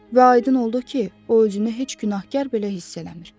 Və aydın oldu ki, o özünü heç günahkar belə hiss eləmir.